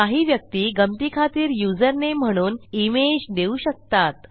काही व्यक्ती गंमतीखातर युजरनेम म्हणून इमेज देऊ शकतात